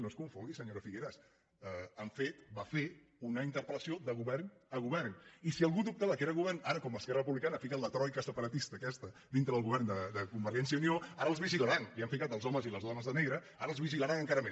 no es confongui senyora figueras han fet va fer una interpel·lació de govern a govern i si algú dubta que era govern ara com esquerra republicana ha ficat la troica separatista aquesta dintre del govern de convergència i unió ara els vigilaran i han ficat els homes i les dones de negre ara els vigilaran encara més